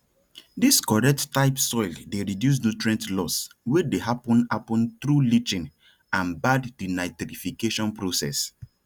dis correct type soil dey reduce nutrient loss wey dey happen happen through leaching and bad denitrification process